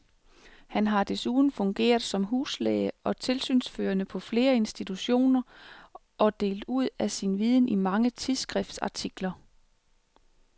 Han har desuden fungeret som huslæge og tilsynsførende på flere institutioner og delt ud af sin viden i mange tidsskriftsartikler.